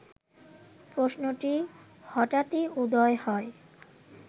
প্রশ্নটি হঠাৎই উদয় হয়